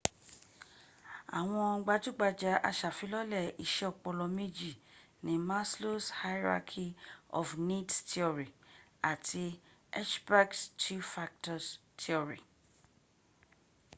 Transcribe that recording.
àwọn gbajúgbajù asàfilọ́lẹ̀ iṣẹ́ ọpọlọ méjì ni maslow's hierarchy of needs theory àti hertzberg's two factor theory